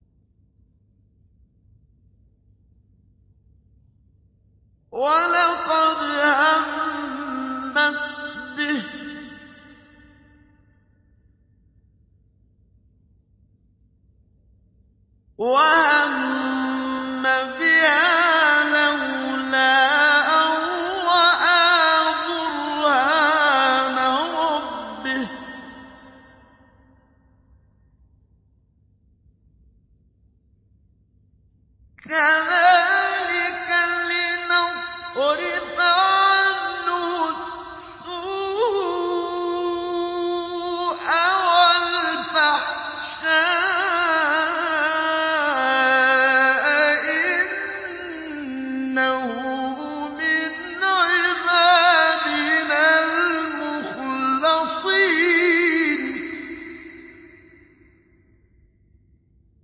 وَلَقَدْ هَمَّتْ بِهِ ۖ وَهَمَّ بِهَا لَوْلَا أَن رَّأَىٰ بُرْهَانَ رَبِّهِ ۚ كَذَٰلِكَ لِنَصْرِفَ عَنْهُ السُّوءَ وَالْفَحْشَاءَ ۚ إِنَّهُ مِنْ عِبَادِنَا الْمُخْلَصِينَ